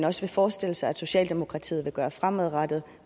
også forestiller sig at socialdemokratiet vil gøre fremadrettet